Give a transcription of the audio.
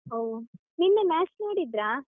ಒಹ್, ನಿನ್ನೆ match ನೋಡಿದ್ದ್ರಾ?